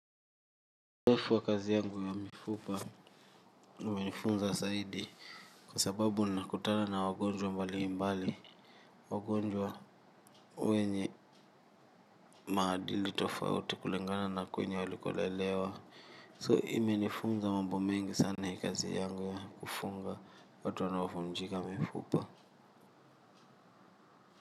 Uzoefu wa kazi yangu ya mifupa umenifunza zaidi kwa sababu nakutana na wagonjwa mbalimbali wagonjwa wenye maadili tofauti kulingana na kwenye walikolelewa. So imenifunza mambo mengi sana hii kazi yangu ya kufunga watu wanaovunjika mifupa.